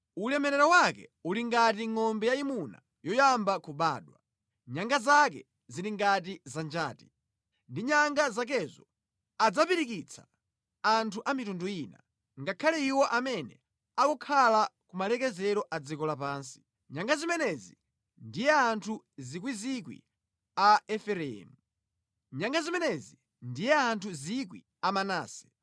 Ulemerero wake uli ngati ngʼombe yayimuna yoyamba kubadwa; nyanga zake zili ngati za njati. Ndi nyanga zakezo adzapirikitsa anthu a mitundu ina, ngakhale iwo amene akukhala ku malekezero a dziko lapansi. Nyanga zimenezi ndiye anthu miyandamiyanda a Efereimu; nyanga zimenezi ndiye anthu 1,000 a Manase.”